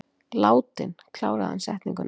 Látinn, kláraði hann setninguna.